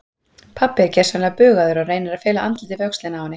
Pabbi er gersamlega bugaður og reynir að fela andlitið við öxlina á henni.